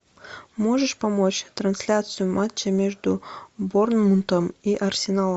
можешь помочь трансляцию матча между борнмутом и арсеналом